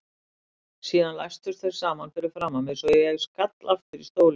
Síðan læstust þeir saman fyrir framan mig svo ég skall aftur í stólinn.